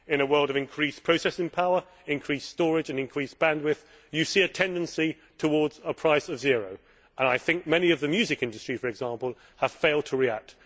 in a world of increased processing power, increased storage and increased bandwidth, you see a tendency towards a price of zero and many in the music industry, for example, have failed to react.